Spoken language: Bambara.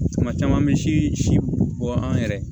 Tuma caman an bɛ si bɔ an yɛrɛ ye